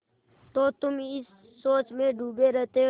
तो तुम इस सोच में डूबे रहते हो